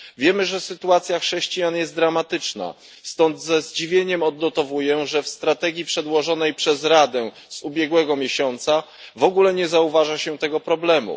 Wiemy, że sytuacja chrześcijan jest dramatyczna, stąd ze zdziwieniem odnotowuję, że w przedłożonej przez Radę strategii z ubiegłego miesiąca w ogóle nie zauważa się tego problemu.